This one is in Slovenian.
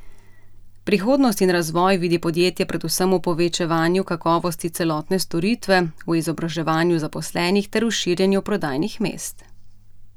Prihodnost in razvoj vidi podjetje predvsem v povečevanju kakovosti celotne storitve, v izobraževanju zaposlenih ter v širjenju prodajnih mest.